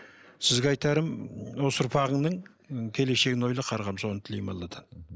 сізге айтарым осы ұрпағыңның і келешегін ойла қарғам соны тілеймін алладан